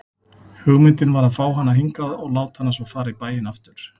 Hugmyndin var að fá hana hingað og láta hana svo fara í bæinn aftur.